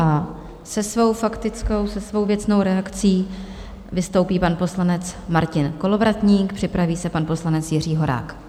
A se svou faktickou, se svou věcnou reakcí vystoupí pan poslanec Martin Kolovratník, připraví se pan poslanec Jiří Horák.